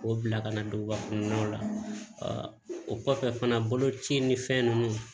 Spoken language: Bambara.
K'o bila ka na duguba kɔnɔnaw la o kɔfɛ fana boloci ni fɛn nunnu